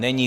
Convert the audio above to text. Není.